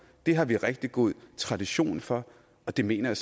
det har vi rigtig god tradition for og det mener